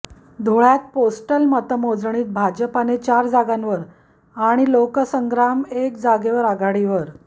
धुळ्यात पोस्टल मतमोजणीत भाजपाने चार जागांवर आणि लोकसंग्राम एक जागेवर आघाडीवर